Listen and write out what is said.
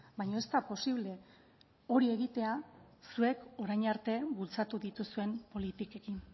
baina ez da posible hori egitea zuek orain arte bultzatu dituzuen politikekin